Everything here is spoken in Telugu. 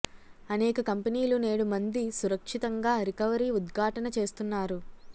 అనేక కంపెనీలు నేడు మంది సురక్షితంగా రికవరీ ఉద్ఘాటన చేస్తున్నారు